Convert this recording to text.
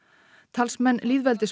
talsmenn